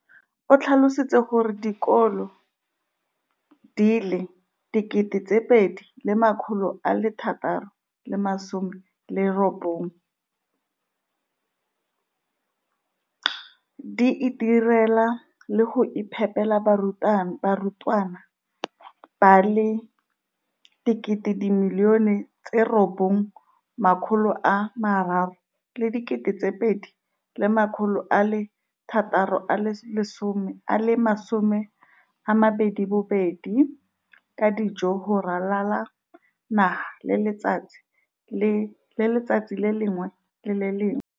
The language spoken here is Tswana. O tlhalositse gore dikolo di le 20 619 di itirela le go iphepela barutwana ba le 9 032 622 ka dijo go ralala naga letsatsi le lengwe le le lengwe.